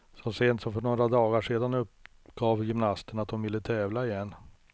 Så sent som för några dagar sedan uppgav gymnasten att hon vill tävla igen.